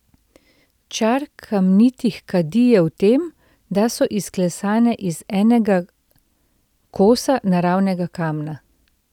Čar kamnitih kadi je v tem, da so izklesane iz enega kosa naravnega kamna.